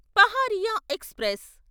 Paharia express